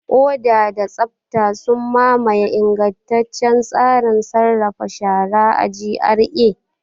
Oda da tsabta sun mamaye ingantaccen tsarin sarrafa shara a GRA.